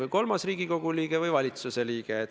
On ju teada, et toona oli teine koalitsioon, kui on täna.